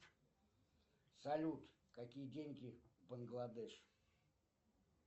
салют какие деньги в бангладеш